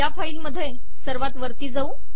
या फाईल मध्ये सर्वात वरती जाऊ